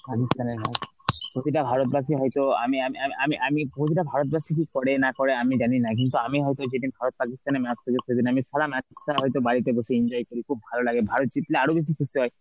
হয়তো আমি আমি আমি আমি প্রতিটা ভারতবাসীরই করেনা করে আমি জানিনা কিন্তু আমি হয়তো যেদিন ভারত পাকিস্তানের match থাকে সেদিন আমি সারা match তা হয়তো বাড়িতে বসে enjoy করি খুব ভালো লাগে, ভারত জিতলে আরো বেশি খুশি হয়.